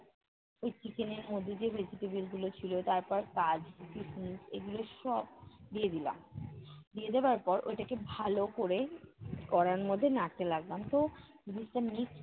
ওই chicken এর মধ্যে যে vegetable গুলো ছিল তারপর কাজু কিসমিস এগুলো সব দিয়ে দিলাম। দিয়ে দেওয়ার পর ওইটাকে ভালো করে কড়াইর মধ্যে নাড়তে লাগলাম। তো জিনিসটা mixed